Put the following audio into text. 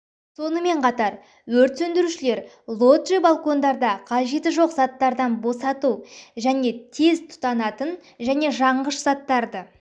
сонымен қатар өрт сөндірушілер лоджи балкондарда қажеті жоқ заттардан босату және тез тұтанатын және жанғыш заттарды